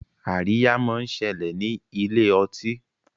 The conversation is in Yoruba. Àríyá món ṣẹlẹ ní Ilé-ọtí.